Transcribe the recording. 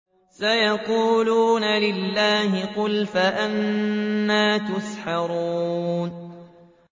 سَيَقُولُونَ لِلَّهِ ۚ قُلْ فَأَنَّىٰ تُسْحَرُونَ